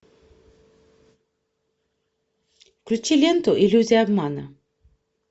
включи ленту иллюзия обмана